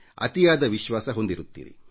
ಅತಿಯಾದ ವಿಶ್ವಾಸ ಹೊಂದಿರುತ್ತೀರಿ